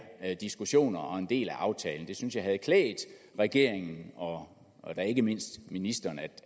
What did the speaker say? diskussioner og en del af aftalen jeg synes det havde klædt regeringen og ikke mindst ministeren at